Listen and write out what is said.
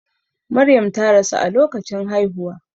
Maryam ta rasu a lokacin haihuwa.